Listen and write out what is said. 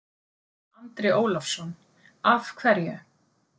Andri Ólafsson: Af hverju?